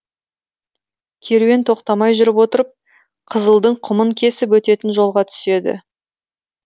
керуен тоқтамай жүріп отырып қызылдың құмын кесіп өтетін жолға түседі